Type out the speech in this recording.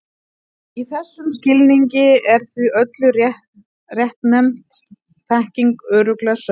Í þessum skilningi er því öll réttnefnd þekking örugglega sönn.